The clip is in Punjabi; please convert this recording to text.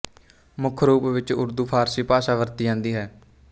ਮੁੱਖ ਰੂਪ ਵਿੱਚ ਉਰਦੂ ਫਾਰਸੀ ਭਾਸ਼ਾ ਵਰਤੀ ਜਾਂਦੀ ਹੈ